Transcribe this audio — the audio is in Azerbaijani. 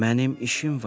Mənim işim var.